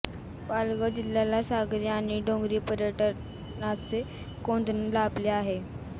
पालघर जिल्ह्याला सागरी आणि डोंगरी पर्यटनाचे कोंदण लाभले आहे